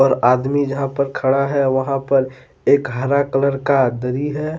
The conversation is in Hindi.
आदमी जहां पर खड़ा है वहां पर एक हरा कलर का दरी है।